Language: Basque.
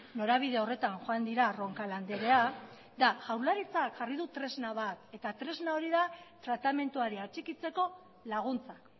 norabide horretan joan dira roncal anderea eta jaurlaritzak jarri du tresna bat eta tresna hori da tratamenduari atxikitzeko laguntzak